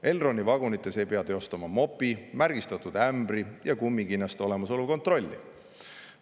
Elroni vagunites ei pea teostama mopi, märgistatud ämbri ja kummikinnaste olemasolu kontrolli.